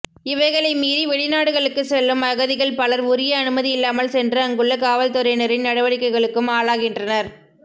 இவைகளை மீறி வெளிநாடுகளுக்குச் செல்லும் அகதிகள் பலர் உரிய அனுமதி இல்லாமல் சென்று அங்குள்ள காவல்துறையினரின் நடவடிக்கைகளுக்கும் ஆளாகின்றனர்